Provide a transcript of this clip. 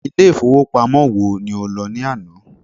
Ilé ìfowópamọ́ wo ni o lọ ní àná?